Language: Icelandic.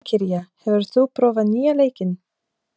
Valkyrja, hefur þú prófað nýja leikinn?